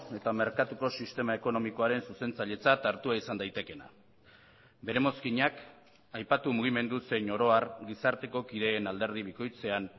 eta merkatuko sistema ekonomikoaren zuzentzailetzat hartua izan daitekeena bere mozkinak aipatu mugimendu zein oro har gizarteko kideen alderdi bikoitzean